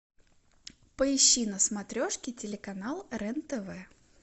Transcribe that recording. поищи на смотрешке телеканал рен тв